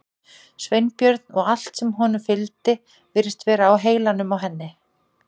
Sveinbjörn og allt sem honum fylgdi virtist vera á heilanum á henni.